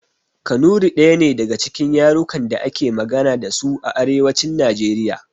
Kanuri ɗaya ne daga cikin yarukan da ake magana dasu a arewacin najeriya